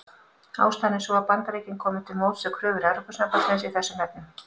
Ástæðan er sú að Bandaríkin komu til móts við kröfur Evrópusambandsins í þessum efnum.